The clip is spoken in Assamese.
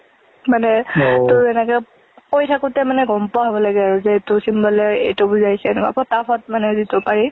মানে তোৰ এনেকে কৈ থাকোঁতে মানে গম পোৱা হব লাগে আৰু যে এইটো symbol ৰ এইটো বুজাইছে, এনেকুৱা ফটাফট মানে যিতো পাৰি।